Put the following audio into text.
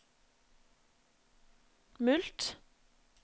mulkt